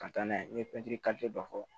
Ka taa n'a ye n'i ye pɛntiri dɔ fɔ